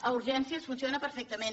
a urgències funciona perfectament